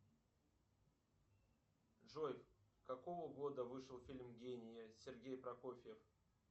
джой какого года вышел фильм гений сергей прокофьев